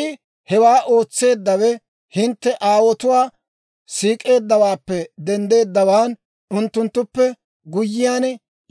I hewaa ootseeddawe hintte aawotuwaa siik'eeddawaappe denddeeddawaan, unttunttuppe guyyiyaan